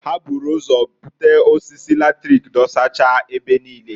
Ha buru ụzọ bute osisi latrik dosacha ebe niine.